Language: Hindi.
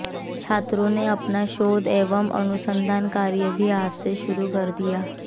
छात्रों ने अपना शोध एवम अनुसंधान कार्य भी आज से शुरू कर दिया